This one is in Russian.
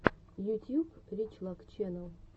ютьюб рич лак ченнал